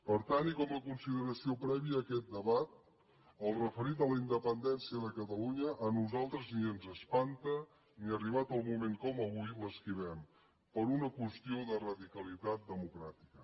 per tant i com a consideració prèvia a aquest debat el referit a la independència de catalunya a nosaltres ni ens espanta ni arribat el moment com avui l’esquivem per una qüestió de radicalitat democràtica